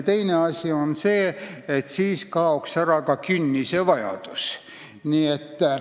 Teine asi on see, et siis kaoks ära ka künnise vajadus.